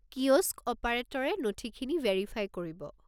Kiosk অ'পাৰেটৰে নথিখিনি verify কৰিব।